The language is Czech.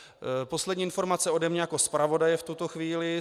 Poslední informace ode mě jako zpravodaje v tuto chvíli.